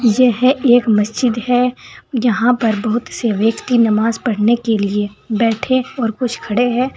यह एक मस्जिद है यहां पर बहुत से व्यक्ति नमाज पढ़ने के लिए बैठे और कुछ खड़े हैं।